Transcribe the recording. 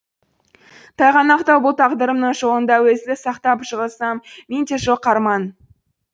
тайғанақтау бұл тағдырымның жолында өзіңді сақтап жығылсам менде жоқ арман